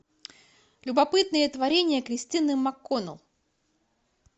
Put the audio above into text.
любопытные творения кристины макконнелл